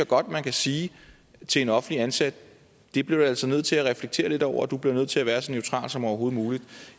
godt at man kan sige til en offentlig ansat det bliver du altså nødt til at reflektere lidt over og du bliver nødt til at være så neutral som overhovedet muligt